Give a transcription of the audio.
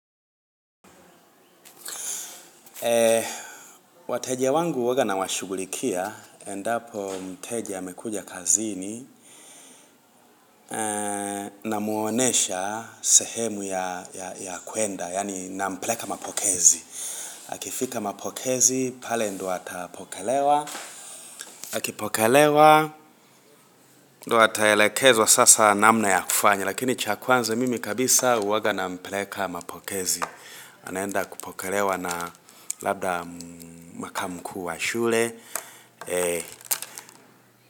Wateja wangu huwaga nawashugulikia Endapo mteja amekuja kazini. Namuonyesha sehemu ya kwenda Yani nampeleka mapokezi Akifika mapokezi, pale ndo atapokelewa Akipokelewa, ndo ataelekezwa sasa namna ya kufanya Lakini chakwanza mimi kabisa huwaga nampeleka mapokezi. Anaenda kupokelewa na labda makamu mkuu wa shule.